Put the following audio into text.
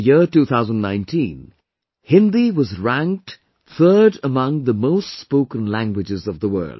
In the year 2019, Hindi was ranked third among the most spoken languages of the world